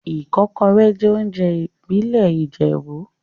Ikokore jẹ́ oúnjẹ ìbílẹ̀ Ìjẹ̀bú.